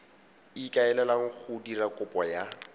ikaelelang go dira kopo ya